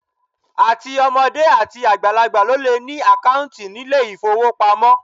Àti ọmọdé àti àgbàlagbà ló le ní àkáùntì nílé ìfówopamọ́.